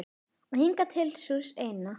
Og hingað til sú eina.